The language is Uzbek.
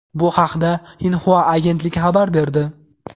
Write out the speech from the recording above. Bu haqda Xinhua agentligi xabar berdi .